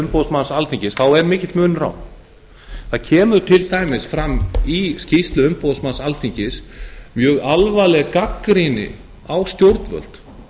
umboðsmanns alþingis þá er þar mikill munur á það kemur til dæmis fram í skýrslu umboðsmanns alþingis mjög alvarleg gagnrýni á stjórnvöld